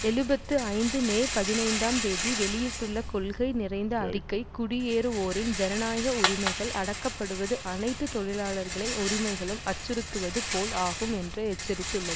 எழுபத்து ஐந்து மே பதினைந்தாம் தேதி வெளியிட்டுள்ள கொள்கை நிறைந்த அறிக்கை குடியேறுவோரின் ஜனநாயக உரிமைகள் அடக்கப்படுவது அனைத்து தொழிலாளர்களின் உரிமைகளும் அச்சுறுத்துவது போல் ஆகும் என்று எச்சரித்துள்ளத்